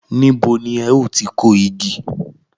Níbo ni ẹ ó ti kó igi?